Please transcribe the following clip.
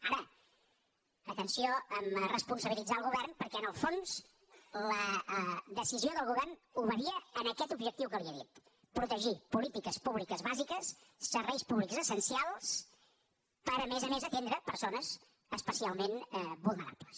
ara atenció amb el fet de responsabilitzar el govern perquè en el fons la decisió del govern obeïa a aquest objectiu que li he dit protegir polítiques públiques bàsiques serveis públics essencials per a més a més atendre persones especialment vulnerables